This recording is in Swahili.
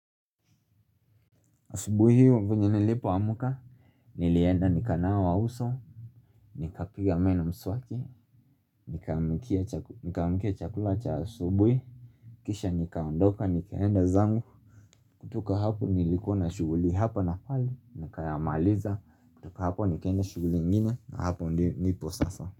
Asubuhi hiyo venye nilipoamka nilienda nikanawa uso Nikapiga meno mswaki nikaamikia chakula cha asubui Kisha nikaondoka nikaenda zangu kutoka hapo nilikona shuguli hapa na pale na kayamaliza kutoka hapo nikaenda shuguli ingine na hapo nipo sasa.